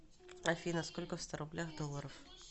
афина сколько в ста рублях долларов